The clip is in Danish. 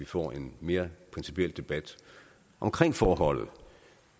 få en mere principiel debat om forholdet